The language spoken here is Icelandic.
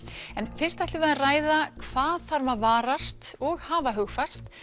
en fyrst ætlum við að ræða hvað þarf að varast og hafa hugfast